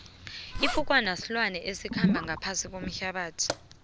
ifukwana silwane esikhamba ngaphasi kuehlabathi